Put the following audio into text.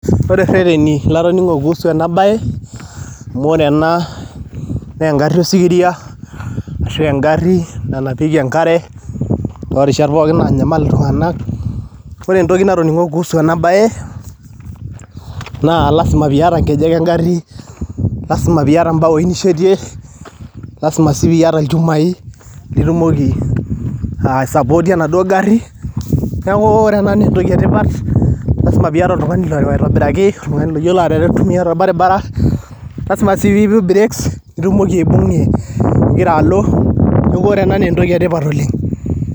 Ore rreteni latoning'o kuhusu ena bae, amu ore ena naa engarri osikiria ashua engarri nanapieki enkare toorishat pooki naanyamal iltung'anak. Ore entoki natoning'o kuhusu ena bae naa lasima piiyata nkejek engarri, lasima piiyata mbaoi nishetie, lasima sii piiyata ilchumai litumoki aisapootie enaduo garri, neeku ore ena naa entoki etipata, lasima piiyata oltung'ani loreu aitobiraki, oltung'ani loyiolo aitumia tolbaribara. Lasima sii piipik breaks nitumoki aibung'ie igira alo, neeku ore ena naa entoki etipat oleng'.